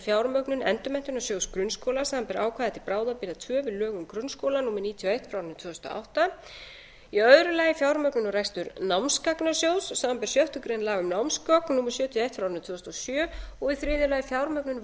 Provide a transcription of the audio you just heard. fjármögnun endurmenntunarsjóðs grunnskóla samanber ákvæði til bráðabirgða tvö við lög um grunnskóla númer níutíu og eitt tvö þúsund og átta í öðru lagi fjármögnun og rekstur námsgagnasjóðs samanber sjöttu grein laga um námsgögn númer sjötíu og eitt tvö þúsund og sjö í þriðja lagi fjármögnun